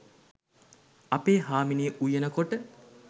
අපේ හාමිනේ උයන කොට